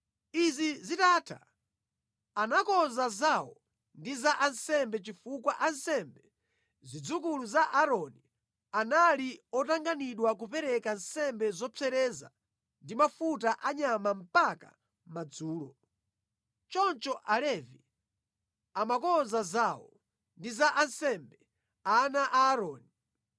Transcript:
Izi zitatha, anakonza zawo ndi za ansembe chifukwa ansembe, zidzukulu za Aaroni, anali otanganidwa kupereka nsembe zopsereza ndi mafuta a nyama mpaka madzulo. Choncho Alevi amakonza zawo ndi za ansembe, ana a Aaroni.